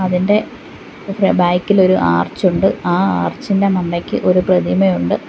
അതിന്റെ ബാക്ക് ഇലൊരു ആർച്ച് ഉണ്ട് ആ ആർച്ചിന്റെ മണ്ടയ്ക്ക് ഒരു പ്രതിമയുണ്ട്.